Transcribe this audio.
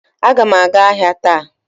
Aga m aga ahịa taa